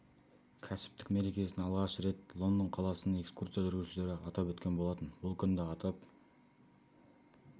кәсіптік мерекесін алғаш рет жылы лондон қаласының экскурсия жүргізушілері атап өткен болатын бұл күнді атап